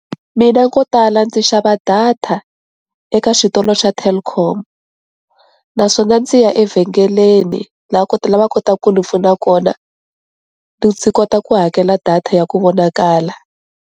Mina ko tala ndzi xava data eka switolo swa Telkom naswona ndzi ya evhengeleni la kotaka lava kotaka ku ni pfuna kona ndzi kota ku hakela data ya ku vonakala.